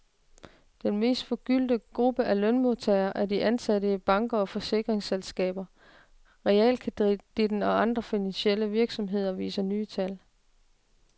Den mest forgyldte gruppe af lønmodtagere er de ansatte i banker, forsikringsselskaber, realkreditten og andre finansielle virksomheder, viser nye tal.